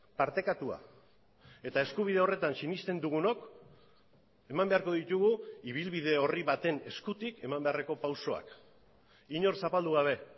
partekatua eta eskubide horretan sinesten dugunok eman beharko ditugu ibilbide horri baten eskutik eman beharreko pausoak inor zapaldu gabe